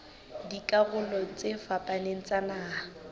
dikarolong tse fapaneng tsa naha